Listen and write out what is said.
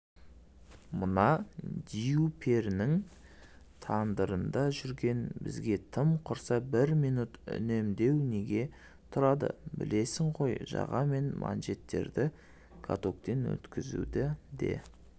мына дию-перінің тандырында жүрген бізге тым құрса бір минут үнемдеу неге тұрады білесің ғой жаға мен манжеттерді катоктен өткізуді де